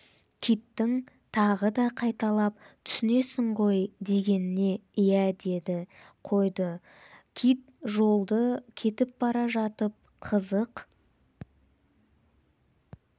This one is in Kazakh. киттің тағы да қайталап түсінесің ғой дегеніне иә деді қойды кит жолда кетіп бара жатып қызық